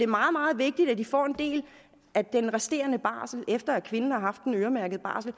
meget meget vigtigt at de får en del af den resterende barsel efter at kvinden har haft den øremærkede barsel